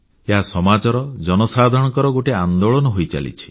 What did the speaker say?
ଏହା ସମାଜର ଜନସାଧାରଣଙ୍କର ଗୋଟିଏ ଆନ୍ଦୋଳନ ହୋଇଚାଲିଛି